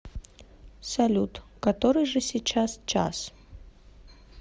салют который же сейчас час